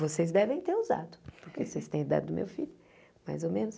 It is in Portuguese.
Vocês devem ter usado, porque vocês têm a idade do meu filho, mais ou menos.